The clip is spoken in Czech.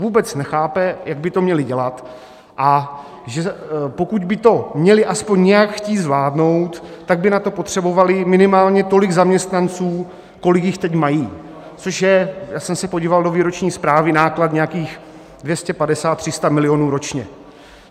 Vůbec nechápe, jak by to měli dělat, a pokud by to měli aspoň nějak chtít zvládnout, tak by na to potřebovali minimálně tolik zaměstnanců, kolik jich teď mají, což je, já jsem se podíval do výroční zprávy, náklad nějakých 250, 300 milionů ročně.